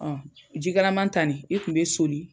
Jikalaman tan nin, e kun be soli